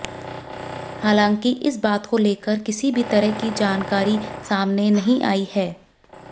हालांकि इस बात को लेकर किसी भी तरह की जानकारी सामने नहीं आई है